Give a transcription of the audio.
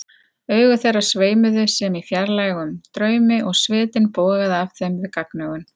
Augu þeirra sveimuðu sem í fjarlægum draumi og svitinn bogaði af þeim við gagnaugun.